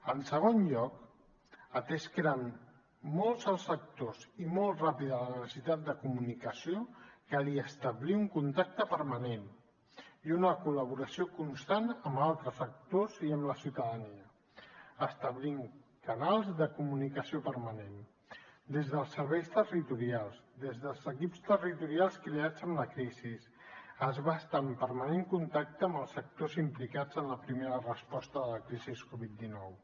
en segon lloc atès que eren molts els actors i molt ràpida la necessitat de comunicació calia establir un contacte permanent i una col·laboració constants amb altres sectors i amb la ciutadania establir canals de comunicació permanent des dels serveis territorials des dels equips territorials creats amb la crisi es va estar en permanent contacte amb els sectors implicats en la primera resposta de la crisi covid dinou